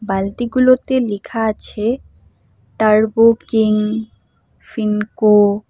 বালতিগুলোতে লিখা আছে turbo king Finco.